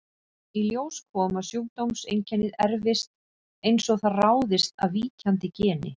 Í ljós kom að sjúkdómseinkennið erfist eins og það ráðist af víkjandi geni.